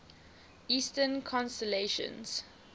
eastern constellations